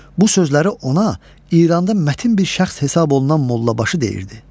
Bu sözləri ona İranda mətin bir şəxs hesab olunan Mollabaşı deyirdi.